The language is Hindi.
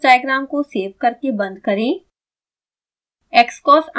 xcos डायग्राम को सेव करके बंद करें